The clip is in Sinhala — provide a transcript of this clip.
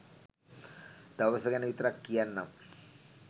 දවස ගැන විතරක් කියන්නම්